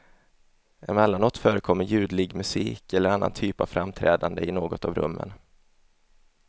Emellanåt förekommer ljudlig musik eller annan typ av framträdande i något av rummen.